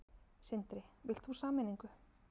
Sindri: Vilt þú sameiningu?